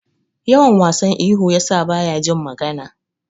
Yawan wasan ihu yasa baya jin magana.